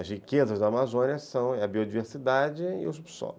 As riquezas da Amazônia são a biodiversidade e o subsolo.